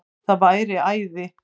Það væri æði